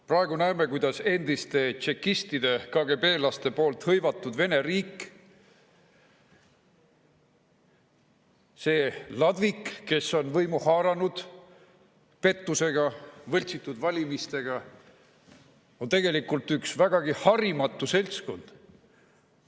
Praegu näeme, kuidas endiste tšekistide, KGB-laste hõivatud Vene riik, selle ladvik, kes on võimu haaranud pettusega, võltsitud valimistega, on tegelikult üks vägagi harimatu seltskond.